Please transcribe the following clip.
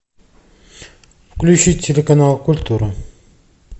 включи телеканал культура